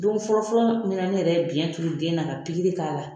Don fɔlɔ fɔlɔ min na ne yɛrɛ ye biyɛn turu den na ka pikiri k'a la.